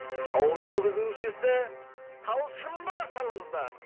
шоу жүргізушісі талшынды қарсы алыңыздар